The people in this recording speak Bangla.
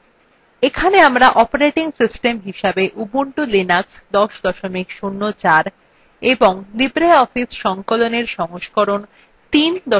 এখানে আমরা অপারেটিং সিস্টেম হিসেবে উবুন্টু লিনাক্স ১০ ০৪ এবং libreoffice সংকলনএর সংস্করণ ৩ ৩ ৪ ব্যবহার করছি